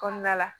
Kɔnɔna la